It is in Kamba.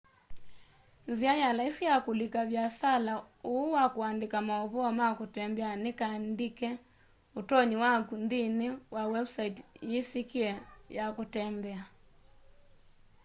nzia ya laisi ya kulika viasala uu wa kuandika mauvoo ma kutembea ni kandike utonyi waku nthini wa website yisikie ya kutembea